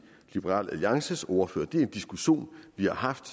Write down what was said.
liberal alliances ordfører det er en diskussion vi har haft